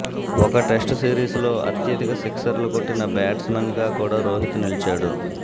ఒక టెస్టు సిరీస్లో అత్యధిక సిక్సర్లు కొట్టిన బ్యాట్స్మన్గా కూడా రోహిత్ నిలిచాడు